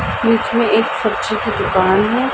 बीच मे एक सब्जी की दुकान है।